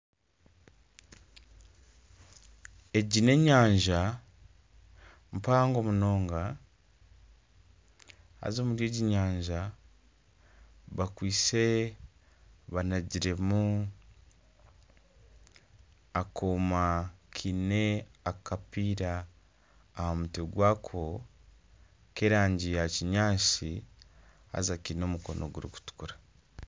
Egi n'enyanja mpango munonga haza omuri egi nyanja bakwitse banagiremu akooma kaine akapiira aha mutwe gwako ky'erangi yakinyatsi haza kaine omukono gurikutukura